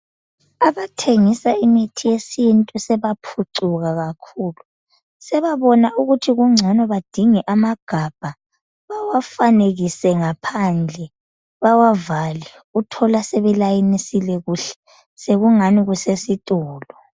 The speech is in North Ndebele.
Abathengisa imithi yesintu sebaphucuka kakhulu sebabona ukuthi kungcono badinge amagabha bawafanekise ngaphandle bawavale uthola sebelayinisile kuhle sekungani kusesitolo.